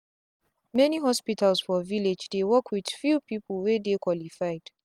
many hospitals for village dey work with few people wey dey qualified.